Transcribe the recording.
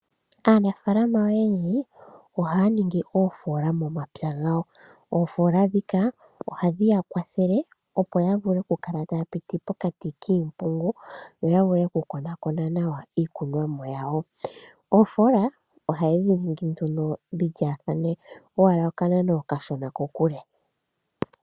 Aanafaalama oyendji ohaya ningi oofoola momapya gawo. Oofoola dhika ohadhi ya kwathele opo ya vule okukala taya piti pokati kiimpungu noyavule okukonakona nawa iikunomwa yawo. Oofoola ohaye dhi ninginduno dhilyaathane owala okanano okashona kokule.